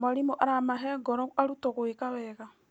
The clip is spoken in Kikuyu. Mwarimũ aramahe ngoro arutwo gwĩka wega.